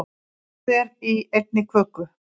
Eitthvað er í einni köku